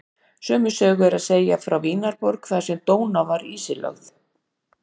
Sömu sögu er að segja frá Vínarborg þar sem Dóná var ísilögð.